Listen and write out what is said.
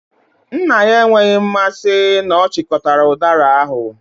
Nna ya enweghị mmasị na ọ chịkọtara udara ahu.